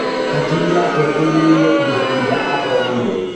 Hakiri yake ĩiyũire indo irĩa athomire